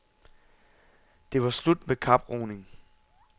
Det var slut med kaproning.